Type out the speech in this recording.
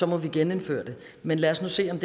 må vi genindføre det men lad os nu se om